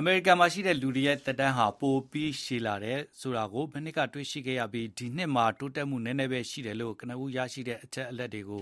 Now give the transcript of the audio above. အမေရိကန်မှာရှိတဲ့လူတွေရဲ့ သက်တမ်းဟာ ပိုပြီးရှည်လာတယ်ဆိုတာ မနှစ်ကတွေ့ရှိခဲ့ပြီး ဒီနှစ်မှာ တိုးတက်မှုနည်းနည်းပဲရှိတယ်လို့ ကနဦးရရှိတဲ့ အချက်အလက်တွေက